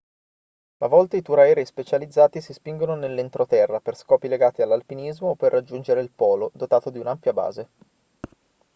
a volte i tour aerei specializzati si spingono nell'entroterra per scopi legati all'alpinismo o per raggiungere il polo dotato di un'ampia base